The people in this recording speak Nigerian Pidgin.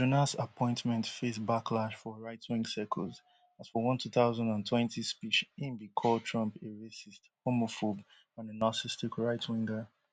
but jonas appointment face backlash for rightwing circles as for one two thousand and twenty speech im bin call trump a racist homophobe and a narcissistic rightwinger